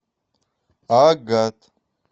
агат